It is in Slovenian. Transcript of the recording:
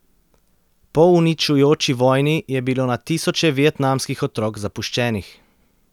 Po uničujoči vojni je bilo na tisoče vietnamskih otrok zapuščenih.